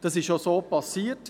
Das ist auch so geschehen.